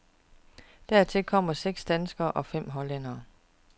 Dertil kommer seks danskere og fem hollændere.